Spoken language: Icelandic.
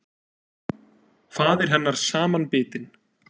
Faðir hennar samanbitinn.